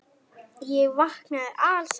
Ég vaknaði alsæll.